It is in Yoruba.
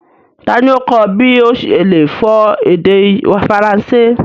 Tani o kọ ọ̀ bí o ṣe le fọ èdè Faransé?